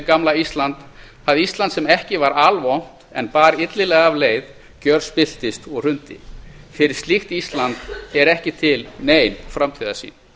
gamla ísland það ísland sem ekki var alvont en bar illilega af leið gjörspilltist og hrundi fyrir slíkt ísland er ekki til nein framtíðarsýn